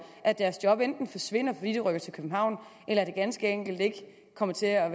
at deres job enten forsvinder fordi de rykker til københavn eller at de ganske enkelt ikke kommer til at